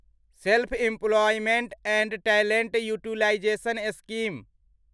self employment and talent utilisation scheme